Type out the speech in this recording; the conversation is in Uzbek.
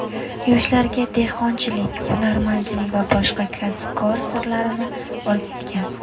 Yoshlarga dehqonchilik, hunarmandlik va boshqa kasb-kor sirlarini o‘rgatgan.